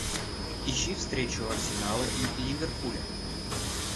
ищи встречу арсенала и ливерпуля